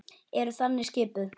Þau eru þannig skipuð.